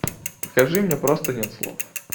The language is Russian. покажи мне просто нет слов